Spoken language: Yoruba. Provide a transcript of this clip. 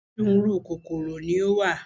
Onírúurú kòkòrò ni ó wà.